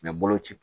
bolo ci